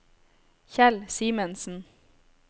Kjell Simensen